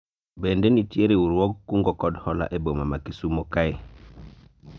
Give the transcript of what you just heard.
bende nitie riwruog kungo kod hola e boma ma Kisumo kae?